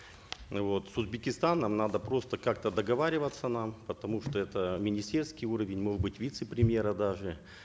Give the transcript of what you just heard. вот с узбекистаном надо просто как то договариваться нам потому что это министерский уровень может быть вице премьера даже